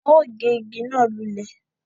Wọn o gé ìgi náà lulẹ̀